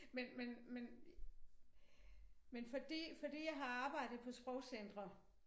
Men men men men fordi fordi jeg har arbejdet på sprogcentre